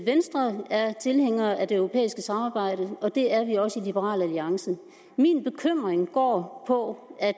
venstre er tilhænger af det europæiske samarbejde og det er vi også i liberal alliance min bekymring går på at